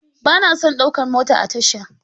Ba na son ɗaukar mota a tasha.